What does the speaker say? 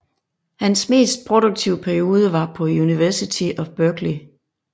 Hans mest produktive periode var på University of Berkeley